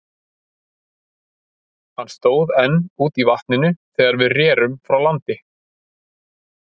Hann stóð enn úti í vatninu, þegar við rerum frá landi.